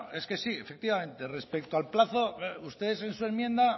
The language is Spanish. bueno es que sí efectivamente respecto al plazo ustedes en su enmienda